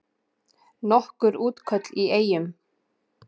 Nokkur útköll í Eyjum